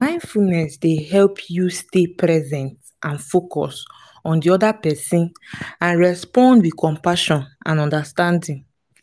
mindfulness dey help you stay present and focused on di oda pesin and respond with compassion and understanding.